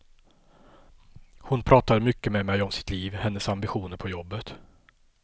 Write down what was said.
Hon pratade mycket med mig om sitt liv, hennes ambitioner på jobbet.